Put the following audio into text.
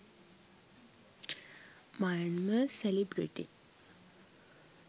myanmar celebrity